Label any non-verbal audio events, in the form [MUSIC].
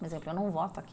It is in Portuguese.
[UNINTELLIGIBLE] Eu não voto aqui.